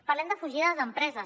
parlem de fugida d’empreses